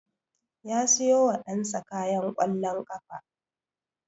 Ya siyo wa ɗan sa kayan ƙwallon ƙafa